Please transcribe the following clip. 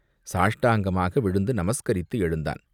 சாஷ்டாங்கமாக விழுந்து நமஸ்கரித்து எழுந்தான்!